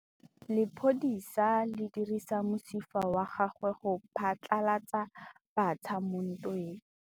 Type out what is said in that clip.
Lepodisa le dirisitse mosifa wa gagwe go phatlalatsa batšha mo ntweng.